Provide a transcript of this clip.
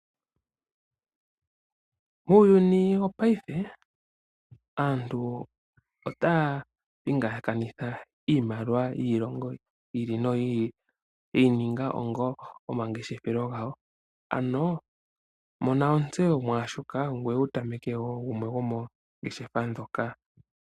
Uuyuni wopaife aantu otaya pingakanitha iimaliwa yiilongo yi ili noyili yeyi ninga onga omangeshefelo gawo, ano mona ontseyo mwashoka ngoye wutameke wo gumwe gwomongeshefa dhoka.